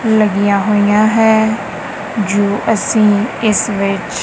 ਲੱਗੀਆਂ ਹੋਈਆਂ ਹੈ ਜੋ ਅਸੀਂ ਇਸ ਵਿੱਚ--